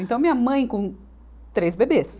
Então, minha mãe com três bebês.